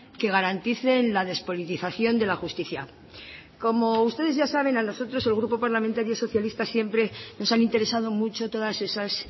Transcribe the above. que garanticen la despolitización de la justicia como ustedes ya saben a nosotros el grupo parlamentario socialista siempre nos han interesado mucho todas esas